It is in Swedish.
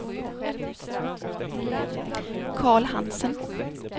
Carl Hansen